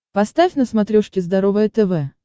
поставь на смотрешке здоровое тв